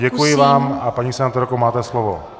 Děkuji vám, a paní senátorko, máte slovo.